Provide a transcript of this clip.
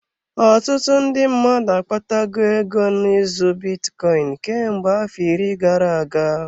Ọtụtụ ndị mmadụ akpata go ego n'ụzọ bitcoin, kemgbe afọ iri gara-aga.